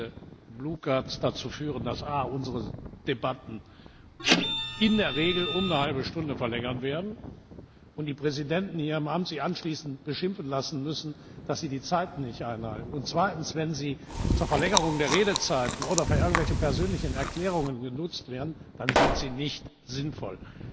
Wenn diese blauen Karten dazu führen, dass erstens unsere Debatten in der Regel um eine halbe Stunde verlängert werden und die amtierenden Präsidenten sich anschließend beschimpfen lassen müssen, dass sie die Zeiten nicht einhalten, und zweitens wenn sie zur Verlängerung der Redezeiten oder für irgendwelche persönlichen Erklärungen genutzt werden, dann sind sie nicht sinnvoll.